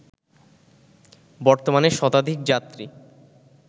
বর্তমানে শতাধিক যাত্রী